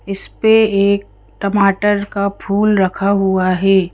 इस पे एक टमाटर का फूल रखा हुआ है।